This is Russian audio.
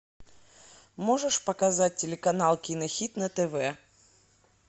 можешь показать телеканал кинохит на тв